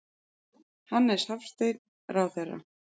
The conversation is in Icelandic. Hannes Hafstein, ráðherra.